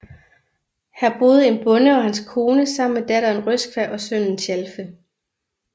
Her boede en bonde og hans kone sammen med datteren Røskva og sønnen Tjalfe